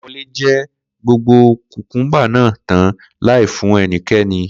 Kó̩lá̩wo̩lé je̩ gbogbo kùkúḿbà náà tán láì fún e̩niké̩ni